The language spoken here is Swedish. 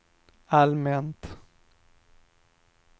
allmänt